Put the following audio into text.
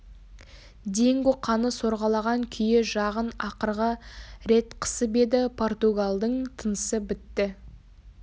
динго қаны сорғалаған күйі жағын ақырғы рет қысып еді португалдың тынысы бітті